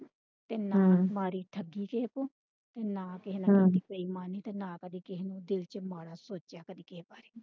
ਤੇ ਨਾ ਮਾਰੀ ਠੱਗੀ ਕਿਸੇ ਤੋਂ ਤੇ ਨਾ ਕਿਸੇ ਨਾ ਨਾ ਕਦੀ ਦਿਲ ਚ ਮਾੜਾ ਸੋਚਿਆ ਕਦੀ ਕਿਸੇ ਬਾਰੇ।